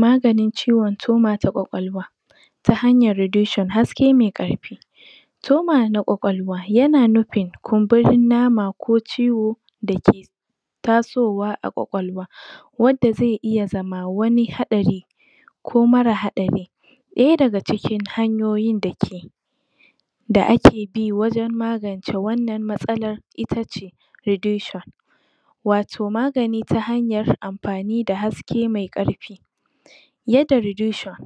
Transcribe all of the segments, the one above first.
Maganin ciwon toma ta kwakwalwa ta hanyar redushon haske mai karfi toma na kwakwalwa yana nufin kunburin nama ko ciwo dake tasowa a kwakwalwa wadda ze iya zama wani haɗari ko mara hadari ɗaya daga cikin hanyoyin dake da ake bi wajan magan ta wannan matsaan itace ridushon wato magani ta hayar am fani da hake me ƙarfi yadda ridushon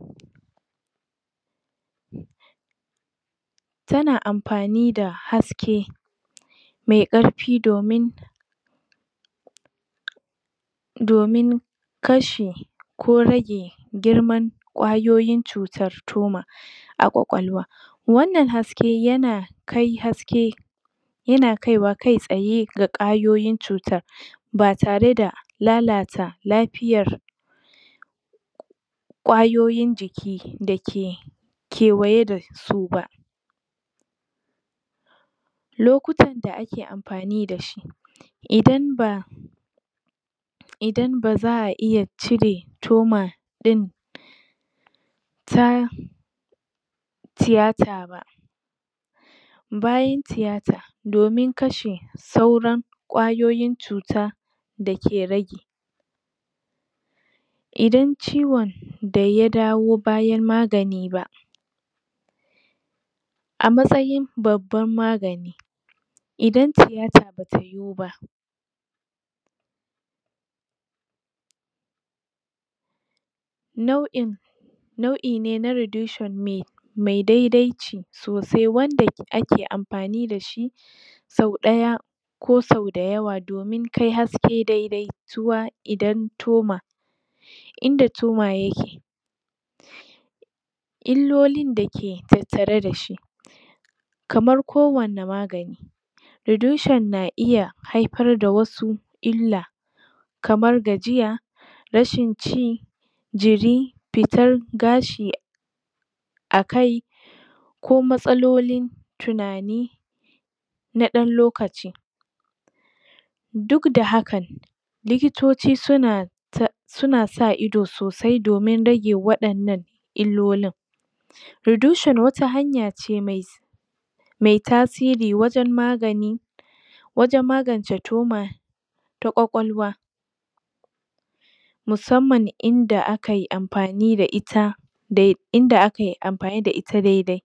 tana amfanida haske me karfi domin domin kashe ko rage girman kwayoyin cutar toma a kwakwalwa wannan haske yana kai haske yana kaiwa kai tsaye ga kwayoyin cutan batare da lalata lafiyar kwayoyin jiki dake kewaye da suba lokutan da ake amfani dashi idan ba idan baza a iya cire toma ɗin ta tiyata ba bayan tiyata domin kashe sauran kwayoyin cuta dake rage idan ciwon da ya dawo bayana magani ba amatsayin babban magani idan tiyata bata yuwuba nau in nau ine na ridushin me me dedaici to se wanda ke ake amfani dashi sau ɗaya ko sau dayawa domin kai haske dedai tuwa idan toma inda toma yake illolin dake tattare dashi kamar ko wane magani ridushon na iya haifar da wasu illa kamar gajiya rashin ci jiri fitar gashi akai ko matsalolin tunani na ɗan lokaci duk da hakan likitoci suna ta, suna sa ido so sai domin rage waɗannan illolin ridushon wata hanya ce me tasiri wajan magani wajan magance toma ta kwakwalwa musamman inda akai amfani da ita dai, inda akai amfani da ita dedai